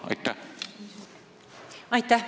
Aitäh!